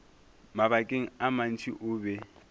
mabakeng a mantši o be